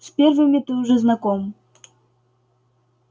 с первыми ты уже знаком